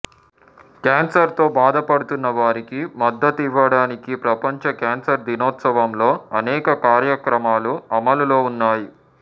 క్యాన్సర్తో బాధపడుతున్నవారికి మద్దతు ఇవ్వడానికి ప్రపంచ క్యాన్సర్ దినోత్సవంలో అనేక కార్యక్రమాలు అమలులో ఉన్నాయి